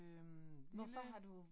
Øh lille